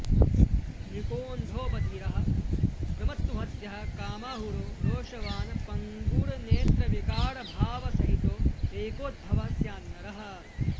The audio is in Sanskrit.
मृकोऽन्धो बधिरः प्रमत्तह्वद्यः कामाहुरो रोषवाण् पङ्गुर्नेत्रविकारभावसहितो रेकोद्भवः स्यान्नरः